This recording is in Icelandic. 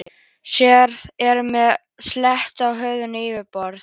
Sárið er með sléttu og hörðu yfirborði.